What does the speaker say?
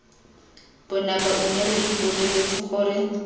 bonako mme re ipoleletse gore